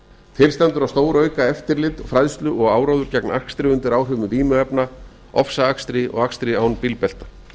til stendur að stórauka eftirlit og fræðslu og áróður gegn akstri undir áhrifum vímuefna ofsaakstri og akstri án bílbelta